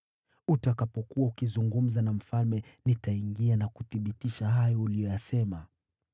Utakapokuwa ukizungumza na mfalme, nitaingia na kuthibitisha hayo uliyoyasema.”